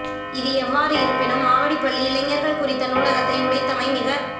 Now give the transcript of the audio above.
எது எவ்வாறு இருப்பினும் மாவடிப்பள்ளி இளைஞர்கள் குறித்த நூலகத்தை உடைத்தமை மிகத்